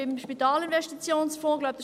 Der Spitalinvestitionsfonds läuft aus.